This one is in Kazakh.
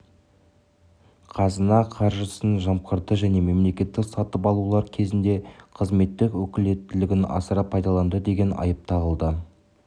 қазына қаржысын жымқырды және мемлекеттік сатып алулар кезінде қызметтік өкілеттілігін асыра пайдаланды деген айып тағылды